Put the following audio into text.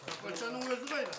тапаншаның өзі қайда